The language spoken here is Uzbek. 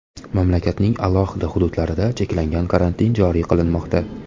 Mamlakatning alohida hududlarida cheklangan karantin joriy qilinmoqda .